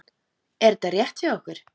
Er þetta rétt hjá okkur?